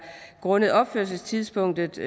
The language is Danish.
grundet opførelsestidspunktet